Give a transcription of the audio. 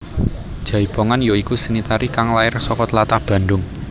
Jaipongan ya iku seni tari kang lair saka tlatah Bandung